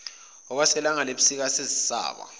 okwelanga lasebusika sezisaba